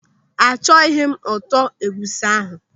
Achọghị m ụtọ egwusi ahụ.